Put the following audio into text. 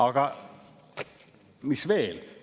Aga mis veel?